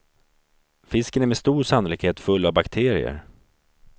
Fisken är med stor sannolikhet full av bakterier.